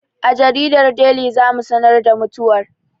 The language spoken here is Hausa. A jaridar Deli za mu sanar da mutuwar